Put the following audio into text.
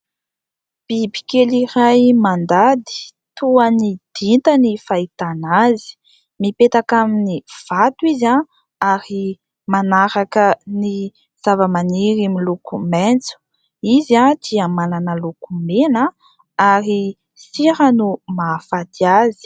Bibikely iray mandady toa ny dinta ny fahitana azy ; mipetaka amin'ny vato izy ary manaraka ny zavamaniry miloko maitso, izy dia manana loko mena ary sira no mahafaty azy.